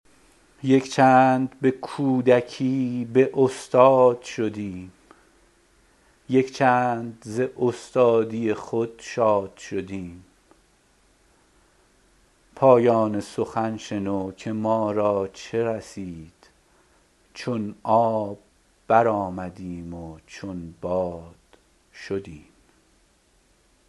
یک چند به کودکی به استاد شدیم یک چند ز استادی خود شاد شدیم پایان سخن شنو که مارا چه رسید چو آب برآمدیم و چون باد شدیم